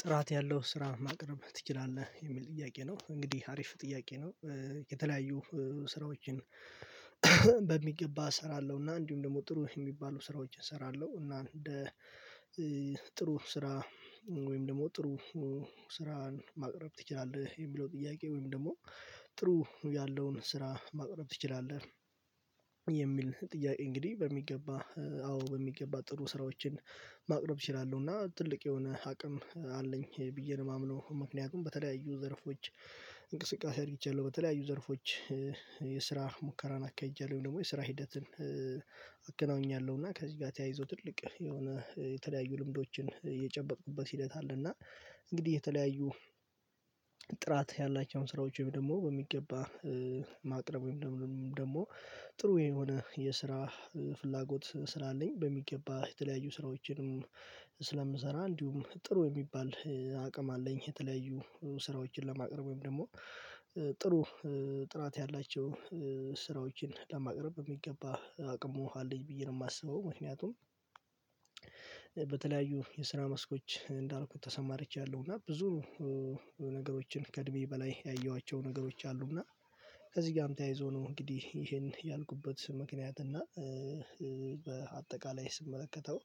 ጥራት ያለው ስራ ማቅረብ ትችላለህ የሚል ጥያቄ ነው እንግዲህ አሪፍ ጥያቄ ነው። የተለያዩ ስራዎችን በሚገባ እሰራለሁ እና እንዲሁም ደግሞ ጥሩ የሚባሉ ስራዎችን እሰራለሁ። እና እንደ ጥሩ ስራ ወይም ደግሞ ጥሩ ስራን ማቅረብ ትችላለህ የሚለው ጥያቄ ወይም ደግሞ ጥሩ ያለውን ስራ ማቅረብ ትችላለህ? የሚል ጥያቄ እንግዲህ በሚገባ አዎ በሚገባ ጥሩ ስራዎችን ማቅረብ እችላለሁ እና ትልቅ የሆነ አቅም አለኝ ብዬ ነው የማምነው። ምክንያቱም በተለያዩ ዘርፎች እንቅስቃሴ አድርቻለሁ በተለያዩ ዘርፎች ሙከራን አካሂቻለሁ ወይም ደግሞ የስራ ሂደትን አገናኘኛለሁ እና ከዚህ ጋር ተያይዞ ትልቅ የሆነ የተለያዩ ልምዶችን እየጨበጥኩበት ሂደት አለ። እና እንግዲህ የተለያዩ ጥራት ያላቸውን ስራዎች ወይም ደግሞ በሚገባ ማቅረብ ወይም ደግሞ ጥሩ የሆነ የስራ ፍላጎት ስላለኝ በሚገባ የተለያዩ ስራዎችንም ስለምሰራ እንዲሁም ጥሩ የሚባል አቅም አለኝ። የተለያዩ ስራዎችን ለማቅረብ ወይም ደግሞ ጥሩ ጥራት ያላቸው ስራዎችን ለማቅረብ የሚገባ አቅሙ አለኝ ብዬ ነው የማስበው። ምክንያቱም በተለያዩ የስራ መስኮች እንዳልኩት ተሰማርቻለሁ እና ብዙ ነገሮችን ከእድሜ በላይ ያየኋቸው ነገሮች አሉ። እና ከዚህ ጋም ተያይዞ ነው እንግዲህ ይሄን ያልኩበት ምክንያት እና በአጠቃላይ ስመለከተው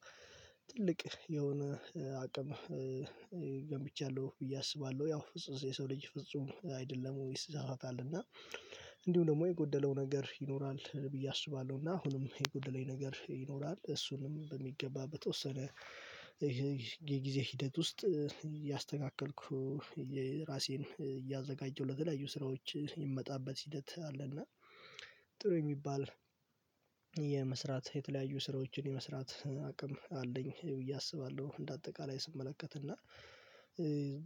ትልቅ የሆነ አቅም ገንብቻለሁ ብዬ አስባለሁ። ያው የሰው ልጅ ፍጹም አይደለም ይሳሳታል እና እንዲሁም ደግሞ የጎደለው ነገር ይኖራል ብዬ አስባለሁ እና አሁንም የጎደለኝ ነገር ይኖራል እሱንም በሚገባ በተወሰነ የጊዜ ሂደት ውስጥ እያስተካከልኩ ራሴን እያዘጋጀሁ ለተለያዩ ስራዎች የምመጣበት ሂደት አለ። እና ጥሩ የሚባል የመስራት የተለያዩ ስራዎችን የመስራት አቅም አለኝ ብዬ አስባለሁ። እንደ አጠቃላይ ስመለከት እና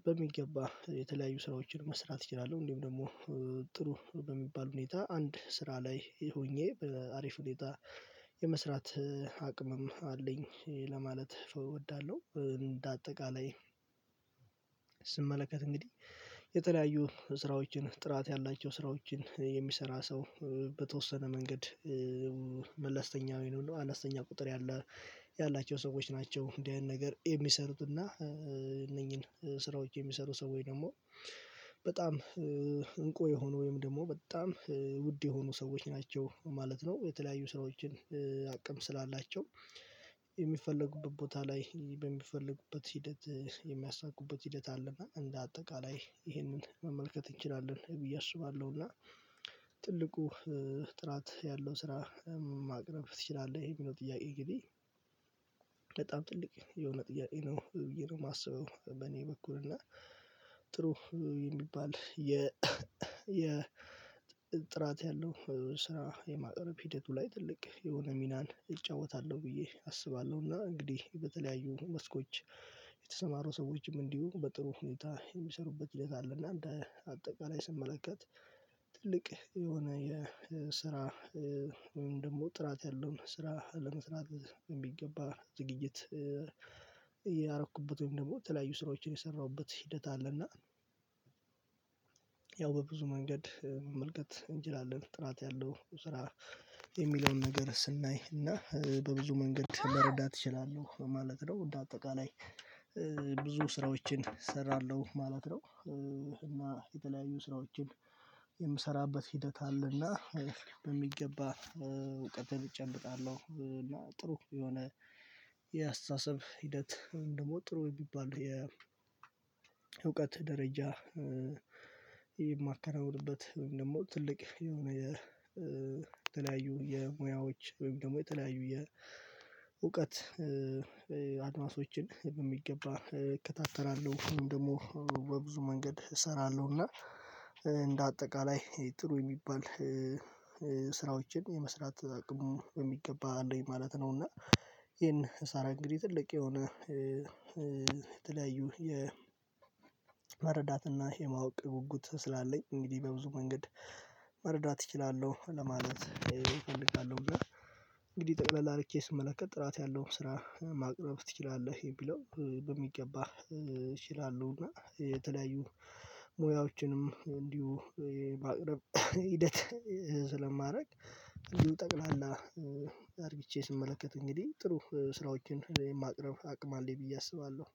በሚገባ የተለያዩ ስራዎችን መስራት እችላለሁ እንዲሁም ደግሞ ጥሩ በሚባል ሁኔታ አንድ ስራ ላይ ሆኜ በአሪፍ ሁኔታ የመስራት አቅምም አለኝ ለማለት እወዳለሁ። እንደ አጠቃላይ ስመለከት እንግዲህ የተለያዩ ስራዎችን ጥራት ያላቸው ስራዎችን የሚሰራ ሰው በተወሰነ መንገድ መልስተኛ ወይንም አኘስተኛ ቁጥር ያላቸው ሰዎች ናቸው። እንዲህ አይነት ነገር የሚሰሩትና እነኚህን ስራዎች የሚሰሩ ሰዎች ደግሞ በጣም እንቁ የሆኑ ወይም ደግሞ በጣም ውድ የሆኑ ሰዎች ናቸው ማለት ነው። የተለያዩ ስራዎችን አቅም ስላላቸው የሚፈለጉበት ቦታ ላይ በሚፈለጉበት ሂደት የሚያሳኩበት ሂደት አለ እና እንደ አጠቃላይ ይሄንን መመልከት እንችላለን ብዬ አስባለሁ። እና ትልቁ ጥራት ያለው ስራ ማቅረብ ትችላለህ የሚለው ጥያቄ እንግዲህ በጣም ጥልቅ የሆነ ጥያቄ ነው። ብዬ ነው የማስበው በእኔ በኩል እና ጥሩ የሚባል የ የ ጥራት ያለው ስራ የማቅረብ ሂደቱ ላይ ትልቅ የሆነ ሚናን እጫወታለሁ ብዬ አስባለሁ። እና እንግዲህ በተለያዩ መስኮች የተሰማሩ ሰዎችም እንዲሁ በጥሩ ሁኔታ የሚሰሩበት ሂደት አለ። እና እንደ አጠቃላይ ስመለከት ትልቅ የሆነ የስራ ወይም ደግሞ ጥራት ያለውን ስራ ለመስራት የሚገባ ዝግጅት እያረኩበት ወይም ደግሞ የተለያዩ ስራዎችን የሰራሁበት ሂደት አለና። ያው በብዙ መንገድ መመልከት እንችላለን ጥራት ያለው ስራ የሚለውን ነገር ስናይ እና በብዙ መንገድ መረዳት ይችላለሁ ማለት ነው። እንደ አጠቃላይ ብዙ ስራዎችን እሰራለሁ ማለት ነው። እና የተለያዩ ስራዎችን የምሰራበት ሂደት አለና በሚገባ እውቀትን እጨብጣለሁ እና ጥሩ የሆነ የአስተሳሰብ ሂደት ወይም ደግሞ ጥሩ የሚባል የእውቀት ደረጃ የማከናውንበት ወይም ደግሞ ትልቅ የሆነ የ የተለያዩ የሙያዎች ወይም ደግሞ የተለያዩ የእውቀት በሚገባ እከታተላለሁ ወይም ደግሞ በብዙ መንገድ እሰራለሁና እንደ አጠቃላይ ጥሩ የሚባል ስራዎችን የመስራት አቅሙ በሚገባ አለኝ ማለት ነው። እና ይሄን ሳራ እንግዲህ ትልቅ የሆነ ተለያዩ የ የመረዳት እና የማወቅ ጉጉት ስላለኝ እንግዲህ በብዙ መንገድ መረዳት እችላለሁ ለማለት እፈልጋለሁ። እንግዲህ ጠቅለል አርጌ ስመለከት ጥራት ያለው ስራ ማቅረብ ትችላለህ የሚለው በሚገባ እችላለሁ እና የተለያዩ ሙያዎችንም እንዲሁ የማቅረብ ሂደት ስለማረግ እንዲሁ ጠቅላላ አርግቼ ስመለከት እንግዲህ ጥሩ ስራዎችን የማቅረብ አቅም አለኝ ብዬ አስባለሁ።